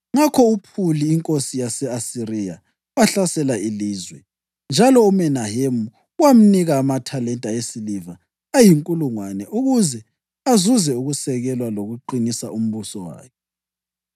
Ngakho uPhuli inkosi yase-Asiriya wahlasela ilizwe, njalo uMenahemu wamnika amathalenta esiliva ayinkulungwane ukuze azuze ukusekelwa lokuqinisa umbuso wakhe.